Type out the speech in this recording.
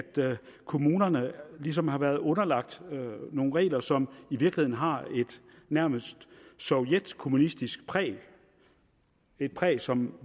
kommunerne ligesom har været underlagt nogle regler som i virkeligheden har et nærmest sovjetkommunistisk præg et præg som